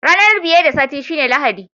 Ranan biye da Sati shine Lahadi.